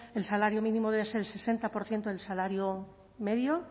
el salario minimo debe ser el sesenta por ciento del salario medio